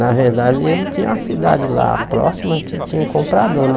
Na verdade, ele tinha a cidade lá próxima que tinha um comprador, né?